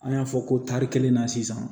An y'a fɔ ko tari kelen na sisan